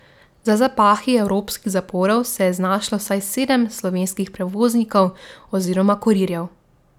Za zapahi evropskih zaporov se je znašlo vsaj sedem slovenskih prevoznikov oziroma kurirjev.